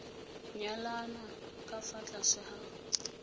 nyalana ka fa tlase ga